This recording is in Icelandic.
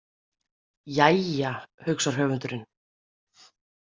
Jæja, hugsar höfundurinn.